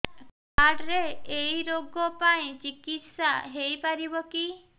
card ରେ ଏଇ ରୋଗ ପାଇଁ ଚିକିତ୍ସା ହେଇପାରିବ କି